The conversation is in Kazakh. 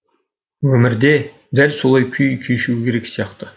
өмірде дәл солай күй кешуі керек сияқты